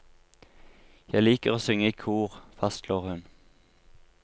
Jeg liker å synge i kor, fastslår hun.